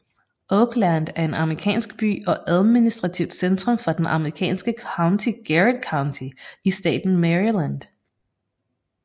Oakland er en amerikansk by og administrativt centrum for det amerikanske county Garrett County i staten Maryland